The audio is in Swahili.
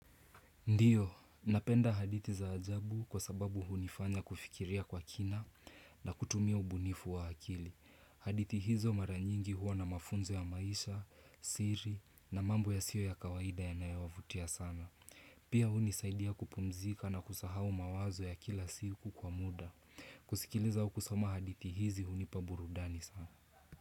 Ndiyo, napenda hadithi za ajabu kwa sababu hunifanya kufikiria kwa kina na kutumia ubunifu wa akili. Hadithi hizo mara nyingi huwa na mafunzo ya maisha, siri na mambo yasiyo ya kawaida yanayovutia sana. Pia hunisaidia kupumzika na kusahau mawazo ya kila siku kwa muda. Kusikiliza au kusoma hadithi hizi hunipa burudani sana.